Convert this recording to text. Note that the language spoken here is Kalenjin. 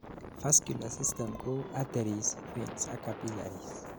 vascular system kou arteries, veins ak capillaries